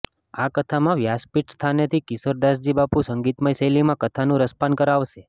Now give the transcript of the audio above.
આ કથામાં વ્યાસપીઠ સ્થાનેથી કિશોર દાસજી બાપુ સંગીતમય શૈલીમાં કથાનું રસપાન કરાવશે